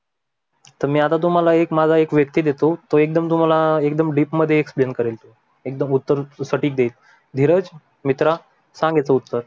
तर तुम्हाला मी माझा व्यक्ती देतो टो तुम्हाला एकदम तुम्हाल एकदम डीप मध्ये explain करेल टो एकदम उत्तर सटीकदेईल. धीरज मित्रा सांग याचे उत्तर.